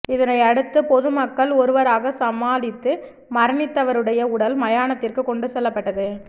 இதனையடுத்து பொதுமக்கள் ஒருவாறாக சமாளித்து மரணித்தவருடைய உடல் மயானத்திற்க்கு கொண்டு செல்லப்பட்டது